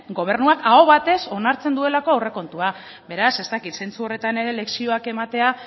gobernuak aho batez onartzen duelako aurrekontua beraz ez dakit zentzu horretan ere lezioak ematea